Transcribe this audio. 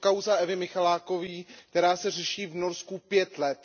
Je to kauza Evy Michalákové, která se řeší v Norsku pět let.